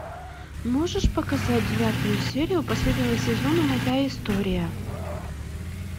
можешь показать девятую серию последнего сезона моя история